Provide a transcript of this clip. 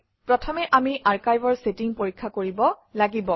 প্ৰথমে আমি আৰ্কাইভৰ চেটিং পৰীক্ষা কৰিব লাগিব